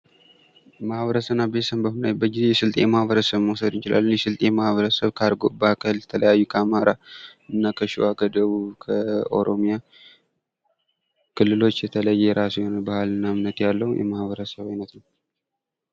ማህበረሰብና ቤተሰብ በምናይበት ጊዜ የስልጤ ማኅበረሰብ መውሰድ እንችላለን። የስልጤ የማህበረሰብ ከአርጎባ፣ ከተለያዩ ከአማራ፤ እና ከሸዋ፥ ከደቡብ፣ ከኦሮሚያ ክልሎች የተለየ የራሱ የሆነ ባህልና እምነት ያለውም የማኅበረሰብ ዓይነት ነው።